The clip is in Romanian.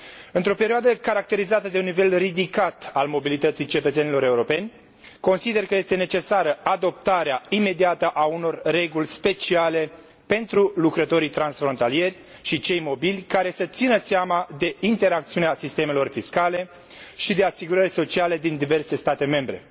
Într o perioadă caracterizată de un nivel ridicat al mobilității cetățenilor europeni, consider că este necesară adoptarea imediată a unor reguli speciale pentru lucrătorii transfrontalieri și cei mobili, care să țină seama de interacțiunea sistemelor fiscale și de asigurări sociale din diverse state membre.